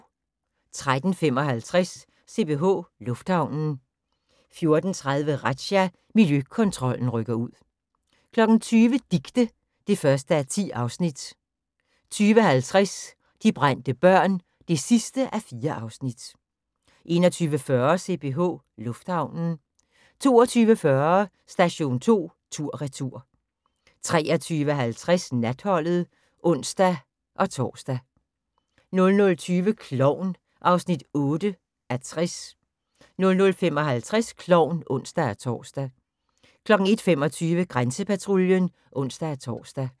13:55: CPH Lufthavnen 14:30: Razzia – Miljøkontrollen rykker ud 20:00: Dicte (1:10) 20:50: De brændte børn (4:4) 21:40: CPH Lufthavnen 22:40: Station 2 tur/retur 23:50: Natholdet (ons-tor) 00:20: Klovn (8:60) 00:55: Klovn (ons-tor) 01:25: Grænsepatruljen (ons-tor)